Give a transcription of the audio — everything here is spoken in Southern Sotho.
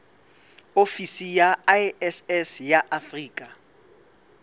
ofisi ya iss ya afrika